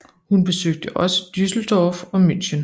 Hun besøgte også Düsseldorf og München